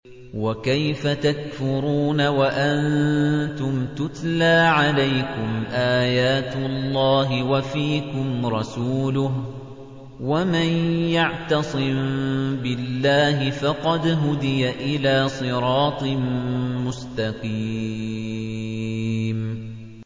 وَكَيْفَ تَكْفُرُونَ وَأَنتُمْ تُتْلَىٰ عَلَيْكُمْ آيَاتُ اللَّهِ وَفِيكُمْ رَسُولُهُ ۗ وَمَن يَعْتَصِم بِاللَّهِ فَقَدْ هُدِيَ إِلَىٰ صِرَاطٍ مُّسْتَقِيمٍ